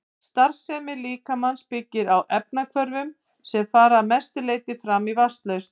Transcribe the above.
Starfsemi líkamans byggir á efnahvörfum sem fara að mestu fram í vatnslausn.